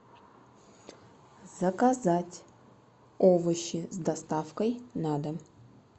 заказать овощи с доставкой на дом